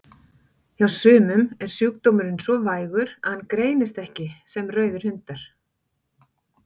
Hjá sumum er sjúkdómurinn svo vægur að hann greinist ekki sem rauðir hundar.